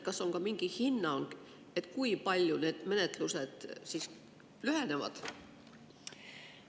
Kas on ka mingi hinnang, kui palju need menetlused siis lühenevad?